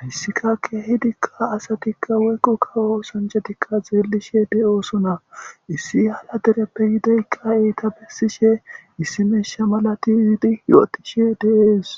hayssika kehidikka asatikka woykqo kawo sanjatikka zeellishe de'osona issi hala dereppe yideykka eyta bessishe issi meesha malati yiidi yo'otishe deees.